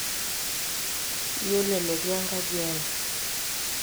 iyiolo enetii enkaji ai